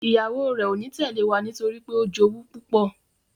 ìyàwó rẹ o ní Tẹlẹ wá nítorípé o jowú púpọ.